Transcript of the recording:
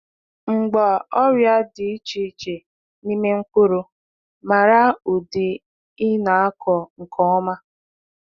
Mgba ọrịa dị iche iche n’ime mkpụrụ, mara ụdị ị na-akọ nke ọma.